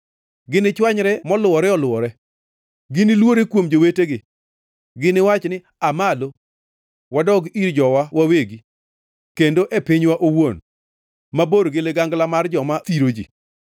Ginichwanyre moluwore oluwore; giniluowre kuom jowetegi. Giniwachi ni, ‘Aa malo, wadog ir jowa wawegi; kendo e pinywa owuon, mabor gi ligangla mar joma thiro ji.’